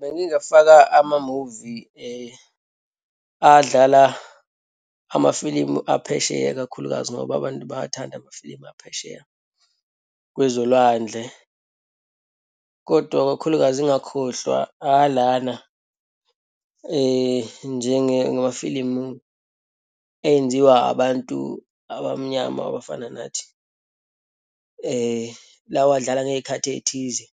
Bengingafaka amamuvi adlala amafilimu aphesheya, ikakhulukazi, ngoba abantu bayawathanda amafilimu aphesheya kwezolwandle. Kodwa, kakhulukazi ngingakhohlwa alana, njengamafilimu enziwa abantu abamnyama abafana nathi, lawa adlala ngeyikhathi eyithize.